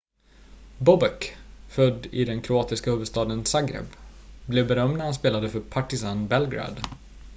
bobek född i den kroatiska huvudstaden zagreb blev berömd när han spelade för partizan belgrad